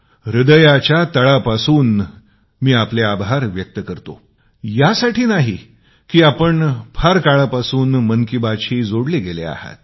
हृदयाच्या खोलातून मी आपले आभार व्यक्त करतो यासाठी नाही की आपण फार काळापासून मन की बातशी जोडले गेले आहोत